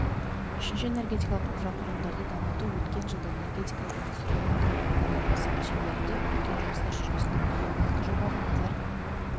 үшінші энергетикалық инфрақұрылымдарды дамыту өткен жылда энергетикада индустрияландыру бағдарламасы шеңберінде үлкен жұмыстар жүргізілді екі жобаға назар